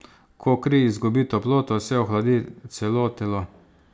Ko kri izgubi toploto, se ohladi celo telo.